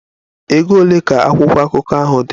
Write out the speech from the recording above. Ego ole ka akwụkwọ akụkọ ahụ dị?